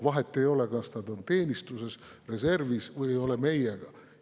Vahet ei ole, kas nad on teenistuses, reservis või ei ole meiega.